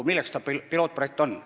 Milleks see pilootprojekt?